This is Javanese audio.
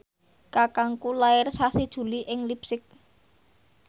kakangku lair sasi Juli ing leipzig